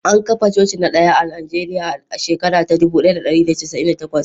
An kafa coci na daya a Najeriya a shekara ta dubu daya da dari da casa'in da takwas